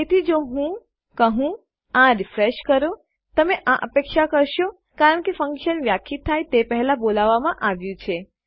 તેથી જો હું કહું આ રીફ્રેશ કરો તમે આ અપેક્ષા કરશો કારણ કે ફન્કશન વ્યાખ્યાયિત થાય તે પહેલાં બોલાવવામાં આવ્યું છે